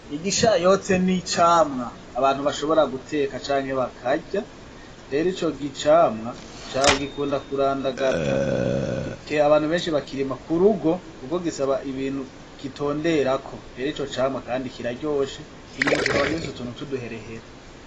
Igishayote ni icamwa abantu bashobora guteka canke bakarya, rero ico camwa gikunda kurandagata, abantu benshi bakirima ku rugo kuko gisaba ibintu gitonderako, rero ico camwa kandi kiraryoshe inyuma kikaba gifise utuntu tw'uduherehere.